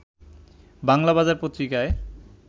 বাংলাবাজার পত্রিকায়